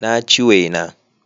Na ci wena